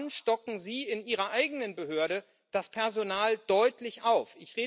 Wann stocken Sie in Ihrer eigenen Behörde das Personal deutlich auf?